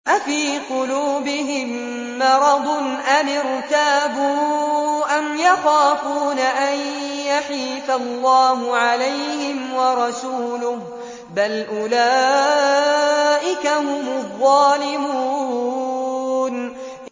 أَفِي قُلُوبِهِم مَّرَضٌ أَمِ ارْتَابُوا أَمْ يَخَافُونَ أَن يَحِيفَ اللَّهُ عَلَيْهِمْ وَرَسُولُهُ ۚ بَلْ أُولَٰئِكَ هُمُ الظَّالِمُونَ